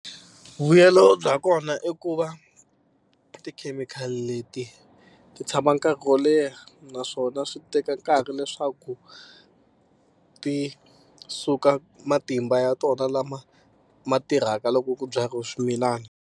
Vuyelo bya kona i ku va tikhemikhali leti ti tshama nkarhi wo leha naswona swi teka nkarhi leswaku ti suka matimba ya tona lama ma tirhaka loko ku byariwa swimilana.